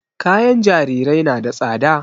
Kayan jarirai na da tsada